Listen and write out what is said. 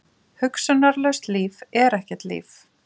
Hugsunarlaust líf er ekkert líf.